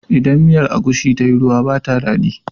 Idan miyar agushi tayi ruwa ba ta daɗi